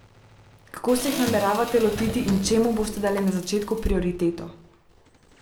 Kako se jih nameravate lotiti in čemu boste dali na začetku prioriteto?